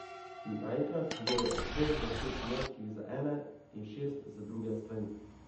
Naenkrat jo je obkrožilo šest moških z ene in šest z druge strani.